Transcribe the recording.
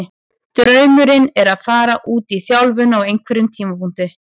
Draumurinn er að fara út í þjálfun á einhverjum tímapunkti.